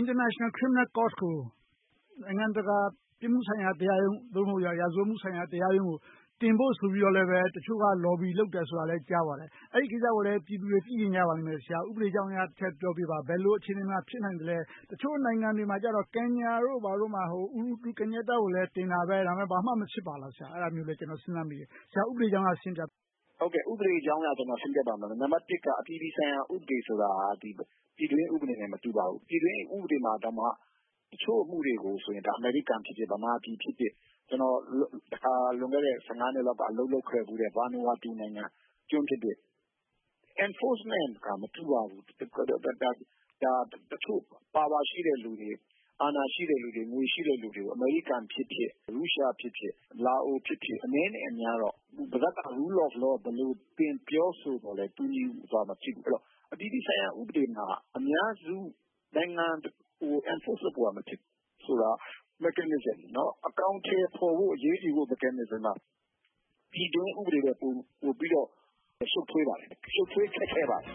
International Criminal Court ကို နိုင်ငံတကာ ပြစ်မှုဆိုင်ရာတရားရုံး ရာဇဝတ်မှုဆိုင်ရာ တရားရုံးကို တင်ဖို့ဆိုပြီး တချို့က Lobby လုပ်နေတယ်ဆိုတာလည်း ကြားပါတယ်။ အဲဒီကိစ္စကိုလည်း ပြည်သူတွေ သိချင်ကြပါလိမ့်မယ်။ ဆရာ ဥပဒေအကြောင်းအရ ထည့်ပြောပေးပါ။ ဘယ်လို အခြေအနေမှာ ဖြစ်နိုင်သလဲ။ တချို့နိုင်ငံတွေမှာ Kenya တို့ ဘာတို့မှာ သမ္မတ Uhuru Kenyatta လည်း တင်တာပဲ ဘာမှမဖြစ်ပါလား။ အဲဒါမျိုးလည်း ကျနော် စဉ်းစားမိတယ်။ ဆရာ ဥပဒေအကြောင်းအရ ရှင်းပြပေးပါ။ ဖြေ ။ ။ ဥပဒေအကြောင်းအရ ရှင်းပြပေးပါမယ်။ နံပါတ်တစ် - အပြည်ပြည်ဆိုင်ရာ ဥပဒေ ဆိုတာ ပြည်တွင်းဥပဒေနဲ့ မတူပါဘူး။ ပြည်တွင်းဥပဒေမှာတောင်မှ တချို့ အမှုတွေ ဆိုရင် အမေရိကန်ဖြစ်ဖြစ်၊ ဗမာဖြစ်ဖြစ် ကျနော် လွန်ခဲ့တဲ့ နှစ်လောက် အလုပ်လုပ်ခဲ့ဖူးတဲ့ Vanuatu ကျွန်းနိုင်ငံ၊ Enforcement က မတူပါဘူး။ တချို့ ပါဝါရှိတဲ့လူတွေ၊ အာဏာရှိတဲ့ လူတွေ၊ ငွေရှိတဲ့လူတွေ၊ အမေရိကန်ဖြစ်ဖြစ်၊ ရုရှားဖြစ်ဖြစ်၊ လာအိုဖြစ်ဖြစ် အနည်းနဲ့ အများတော့ ပါးစပ်က Rule of Law သင်ပြောဆိုနေသော်လည်း တူညီစွာ မဖြစ်ဘူး။ အပြည်ပြည်ဆိုင်ရာ ဥပဒေမှာ အများစု နိုင်ငံတခုကို Enforce လုပ်ဖို့ မဖြစ်ဘူးဆိုတာ Mechanism အကောင်အထည်ဖော်ဖို့၊ အရေးယူဖို့ဆိုတာ ပြည်တွင်းဥပဒေထက် ပိုပြီးတော့ ရှုပ်ထွေးပါတယ်။ ရှုပ်ထွေးခက်ခဲပါတယ်